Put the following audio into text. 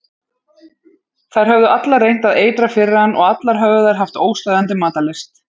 Þær höfðu allar reynt að eitra fyrir hann og allar höfðu þær haft óstöðvandi matarlyst.